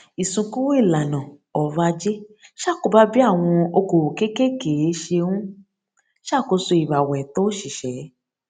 ìsún kúrò ìlànà ọrọ ajé ṣàkóbá bí àwọn okòòwò kékékèé ṣe n ṣàkóso ìràwọ ẹtọ òṣìṣẹ